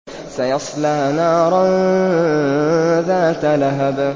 سَيَصْلَىٰ نَارًا ذَاتَ لَهَبٍ